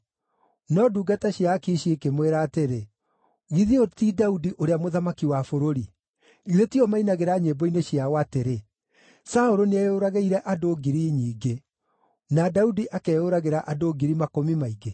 No ndungata cia Akishi ikĩmwĩra atĩrĩ, “Githĩ ũyũ ti Daudi, ũrĩa mũthamaki wa bũrũri? Githĩ tiwe mainagĩra nyĩmbo-inĩ ciao atĩrĩ: “ ‘Saũlũ nĩeyũragĩire andũ ngiri nyingĩ, na Daudi akeyũragĩra andũ ngiri makũmi maingĩ’?”